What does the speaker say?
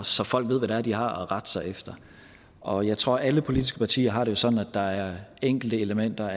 så folk ved hvad det er de har at rette sig efter og jeg tror at alle politiske partier har det sådan at der er enkelte elementer